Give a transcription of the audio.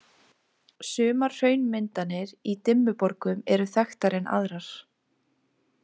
Sumar hraunmyndanir í Dimmuborgum eru þekktari en aðrar.